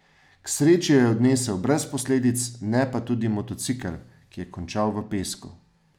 K sreči jo je odnesel brez posledic, ne pa tudi motocikel, ki je končal v pesku.